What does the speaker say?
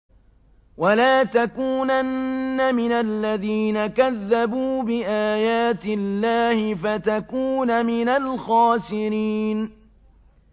وَلَا تَكُونَنَّ مِنَ الَّذِينَ كَذَّبُوا بِآيَاتِ اللَّهِ فَتَكُونَ مِنَ الْخَاسِرِينَ